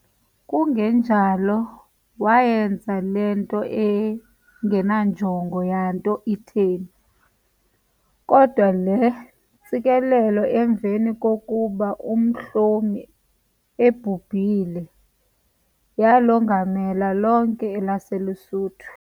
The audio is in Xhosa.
Kungenjalo waayenza le nto engenanjongo yanto itheni, kodwa le ntsikelelo emveni kokuba uMhlomi ebhubhile, yaalongamela lonke elaseLuSuthu.